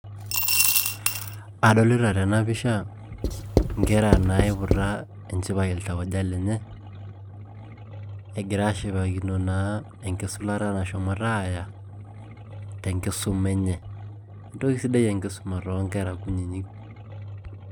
adolita tena pisha nkera naaiputa enchipai iltauja lenye, egira aashipakino naa enkisulata naa nashomo aaya, tenkisuma enye. entoki sidai enkisuma too nkera kunyiyik.